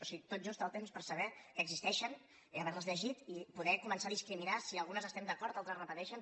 o sigui tot just el temps per saber que existeixen haver les llegit i poder començar a discriminar si en algunes estem d’acord altres repeteixen